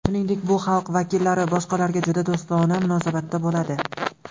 Shuningdek, bu xalq vakillari boshqalarga juda do‘stona munosabatda bo‘ladi.